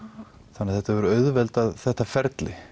þannig þetta hefur auðveldað þetta ferli